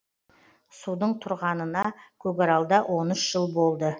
судың тұрғанына көкаралда он үш жыл болды